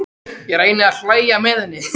Ég reyni að hlæja með henni.